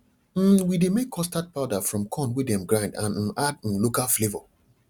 um we dey make custard powder from corn wey dem grind and um add um local flavour